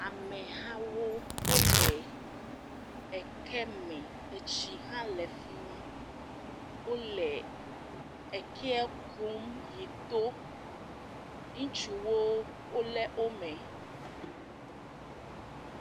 Amehawo wole eke me. Etsi hã le fi ma. Wole eke kum yi to. Ŋutsuwo wole wome